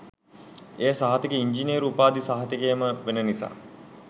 ඒ සහතිකය ඉන්ජිනේරු උපාධි සහතිකයම වෙන නිසා.